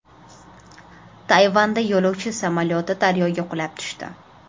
Tayvanda yo‘lovchi samolyoti daryoga qulab tushdi.